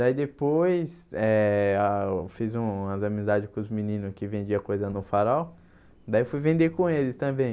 Daí depois eh ah eu fiz umas amizades com os meninos que vendiam coisa no farol, daí fui vender com eles também.